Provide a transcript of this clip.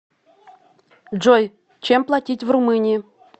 джой чем платить в румынии